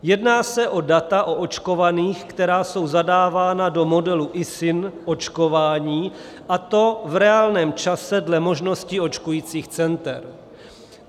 Jedná se o data o očkovaných, která jsou zadávány do modelu ISIN - očkování, a to v reálném čase dle možností očkujících center.